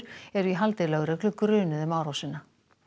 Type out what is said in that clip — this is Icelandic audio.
eru í haldi lögreglu grunuð um árásina